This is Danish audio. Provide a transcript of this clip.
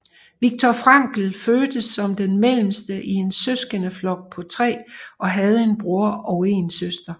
Viktor Frankl fødtes som den mellemste i en søskendeflok på tre og havde en bror og en søster